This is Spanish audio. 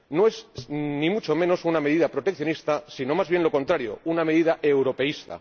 No es ni mucho menos una medida proteccionista, sino más bien lo contrario una medida europeísta.